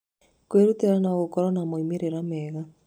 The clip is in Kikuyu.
Kwĩrutĩra no gũkorũo na moimĩrĩro mega.